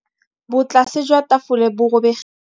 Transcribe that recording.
Botlasê jwa tafole bo robegile.